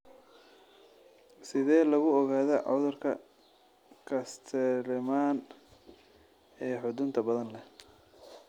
Sidee lagu ogaadaa cudurka Castleman ee xudunta badan leh?